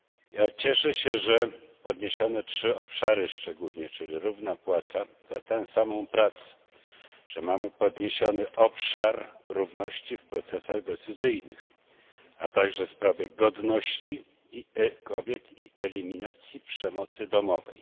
Ja cieszę się, że podniesiono szczególnie trzy obszary, czyli równa płaca za tę samą pracę to, że mamy podniesiony obszar równości w procesach decyzyjnych a także sprawy godności kobiet i eliminacji przemocy domowej.